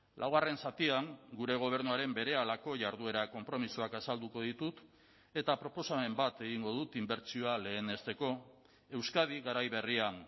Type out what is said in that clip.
laugarren zatian gure gobernuaren berehalako jarduera konpromisoak azalduko ditut eta proposamen bat egingo dut inbertsioa lehenesteko euskadi garai berrian